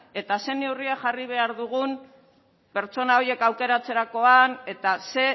eta zein neurriak jarri behar dugun pertsona horiek aukeratzerakoan eta ze